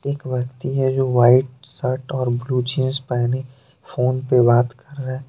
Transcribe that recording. एक व्यक्ति है जो वाइट शर्ट और ब्लू जींस पहने फोन पे बात कर रहा है।